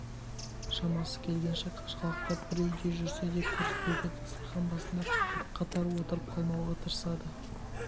шамасы келгенше қашқалақтап бір үйде жүрсе де көріспеуге дастархан басында қатар отырып қалмауға тырысады